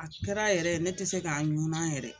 A kɛra yɛrɛ ne te se ka ŋunan yɛrɛ